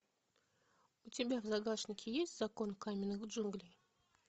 у тебя в загашнике есть закон каменных джунглей